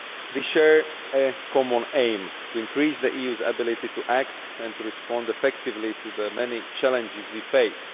We share a common aim to increase the EU's ability to act and to respond effectively to the many challenges we face.